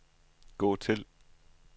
gå til